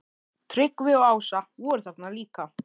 Tryggvi og Ásta voru þarna líka.